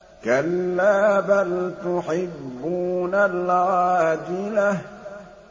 كَلَّا بَلْ تُحِبُّونَ الْعَاجِلَةَ